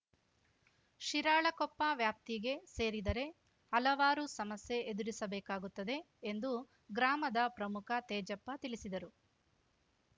ಶಿರಾಳಕೊಪ್ಪ ವ್ಯಾಪ್ತಿಗೆ ಸೇರಿದರೆ ಹಲವಾರು ಸಮಸ್ಯೆ ಎದುರಿಸಬೇಕಾಗುತ್ತದೆ ಎಂದು ಗ್ರಾಮದ ಪ್ರಮುಖ ತೇಜಪ್ಪ ತಿಳಿಸಿದರು